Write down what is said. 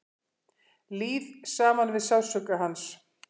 Líð saman við sársauka hans.